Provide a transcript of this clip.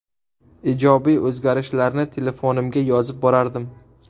Ijobiy o‘zgarishlarni telefonimga yozib borardim.